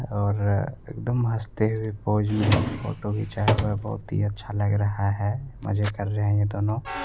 और अ एकदम हंसते हुए पोज में फोटो खींचा हुआ है बहोत ही अच्छा लग रहा है मजे कर रहे हैं ये दोनों।